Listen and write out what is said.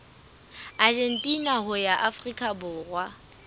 argentina ho ya afrika borwa